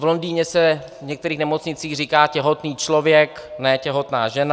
V Londýně se v některých nemocnicích říká těhotný člověk, ne těhotná žena.